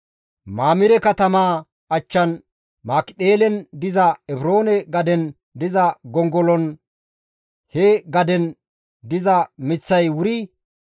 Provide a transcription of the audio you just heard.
Mamire katamaa achchan Makipheelen diza Efroone gaden diza gongoloynne he gaden diza miththay wuri,